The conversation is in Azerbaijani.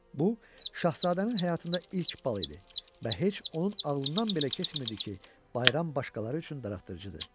Bu, Şahzadənin həyatında ilk bal idi və heç onun ağlından belə keçmirdi ki, bayram başqaları üçün darıxdırıcıdır.